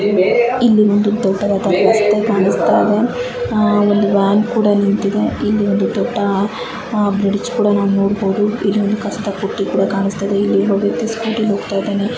ಇಲ್ಲಿ ಒಂದು ದೊಡ್ಡದಾದ ರಸ್ತೆ ಕಾಣಸ್ತಾಯಿದೆ. ಅ-ಒಂದು ವ್ಯಾನ್ ಕೂಡ ನಿಂತಿದೆ ಇಲ್ಲಿ ಒಂದು ದೊಡ್ಡ ಬ್ರಿಜ್ ಕೂಡ ನಾವ್ ನೋಡಬೋದು ಇಲ್ಲಿ ಒಂದ್ ಕಸದ ಬುಟ್ಟಿ ಕೂಡ ಕಾಣಸ್ತಾಯಿದೆ ಇಲ್ಲಿ ಒಬ್ಬ ವ್ಯಕ್ತಿ ಸ್ಕೂಟಿ ಯಲ್ಲಿ ಹೋಗ್ತಾಇದಾನೆ.